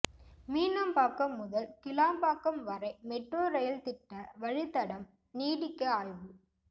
மீனம்பாக்கம் முதல் கிளாம்பாக்கம் வரை metro rail திட்ட வழித்தடம் நீடிக்க ஆய்வு